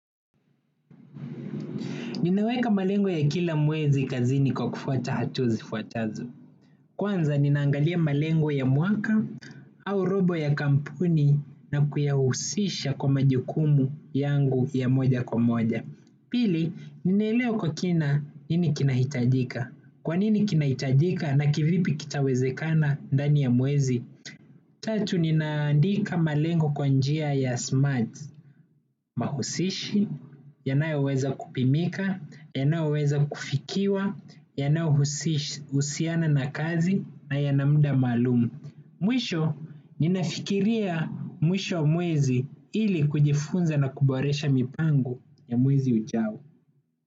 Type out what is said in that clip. Ninaweka malengo ya kila mwezi kazini kwa kufuata hatua zifuatazo. Kwanza ninaangalia malengo ya mwaka au robo ya kampuni na kuyahusisha kwa majukumu yangu ya moja kwa moja. Pili, ninaelewa kwa kina nini kinahitajika. Kwa nini kinahitajika na kivipi kitawezekana ndani ya mwezi tatu, ninaandika malengo kwa njia ya smart. Mahusishi, yanayoweza kupimika, yanayoweza kufikiwa, yanayohusiana na kazi na yana muda maalum. Mwisho, ninafikiria mwisho wa mwezi ili kujifunza na kuboresha mipango ya mwezi ujao.